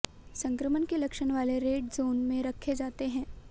संक्रमण के लक्षण वाले रेड जोन में रखे जाते हैं